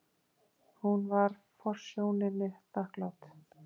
Hún var forsjóninni þakklát.